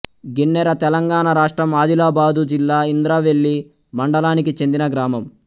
గిన్నెరతెలంగాణ రాష్ట్రం ఆదిలాబాదు జిల్లా ఇంద్రవెల్లి మండలానికి చెందిన గ్రామం